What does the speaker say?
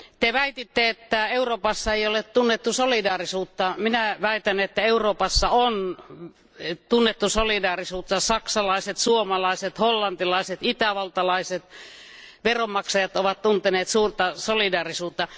Te väititte, että Euroopassa ei ole tunnettu solidaarisuutta. Minä väitän, että Euroopassa on tunnettu solidaarisuutta, saksalaiset, suomalaiset, hollantilaiset ja itävaltalaiset veronmaksajat ovat tunteneet suurta solidaarisuutta.